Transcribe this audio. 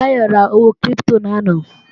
Táyọ̀ ra owó kírípítò lánàá